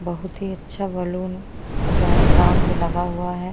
बहुत ही अच्छा बैलून पूरा राउंड में लगा हुआ है।